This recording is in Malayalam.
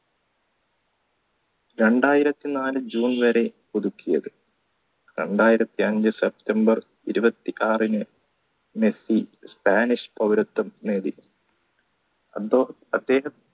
രണ്ടായിരത്തി നാല് june വരെ പുതുക്കിയത് രണ്ടായിരത്തി അഞ്ചു september ഇരുപത്തി ആറിന് മെസ്സി സ്പാനിഷ് പൗരത്വം നേടി അദ്ദേഹം